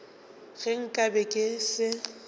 ge nka be ke se